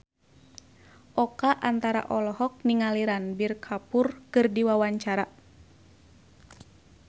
Oka Antara olohok ningali Ranbir Kapoor keur diwawancara